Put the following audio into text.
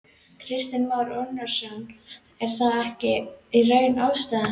Kristinn Már Unnarsson: Er það ekki í raun ástæðan?